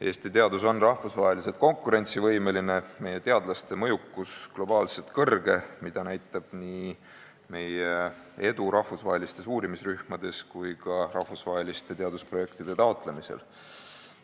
Eesti teadus on rahvusvaheliselt konkurentsivõimeline, meie teadlaste mõjukus on globaalselt suur, mida näitab nii meie edu rahvusvahelistes uurimisrühmades kui ka rahvusvaheliste teadusprojektide taotlemisel.